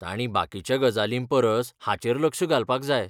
ताणीं बाकीच्या गजालींपरस हाचेर लक्ष घालपाक जाय.